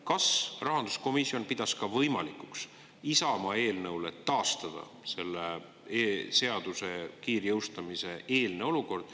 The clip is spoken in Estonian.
Kas rahanduskomisjon pidas võimalikuks Isamaa eelnõule taastada selle seaduse kiirjõustumise eelne olukord?